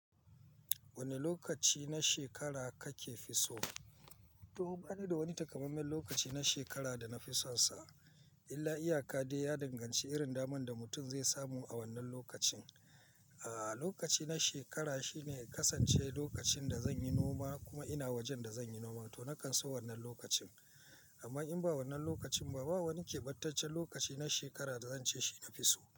Wane lokaci na shekara kake fi so? To bani da wani takamaimen lokaci na shekara da na fi sonsa, illa iyaka dai ya danganci irin daman da mutum zai samu a wannan lokacin. Ah, lokaci na shekara shine ya kasance lokacin da zan yi noma kuma ina wajen da zan yi noma, to na kan so wannan lokacin. Amma in ba wannan lokacin ba, ba wani keɓantaccen lokaci na shekara da zan ce shi na fi so.